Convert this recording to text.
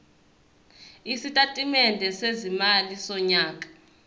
isitatimende sezimali sonyaka